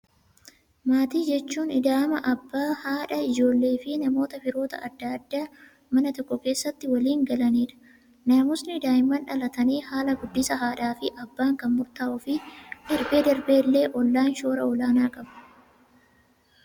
Maatii jechuun ida'ama abbaa, haadha, ijoollee fi namoota firoota addaa addaa mana tokko keessatti waliin kan galanidha. Naamusni daa'imman dhalatanii, haala guddisa haadha fi abbaan kan murtaa'uufii, darbee darbee illee ollaan shoora olaanaa qabu.